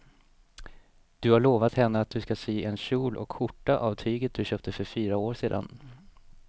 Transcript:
Du har lovat henne att du ska sy en kjol och skjorta av tyget du köpte för fyra år sedan.